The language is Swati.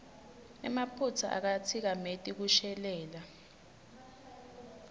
emaphutsa akatsikameti kushelela